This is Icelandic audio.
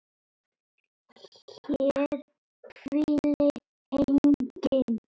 HÉR HVÍLIR ENGINN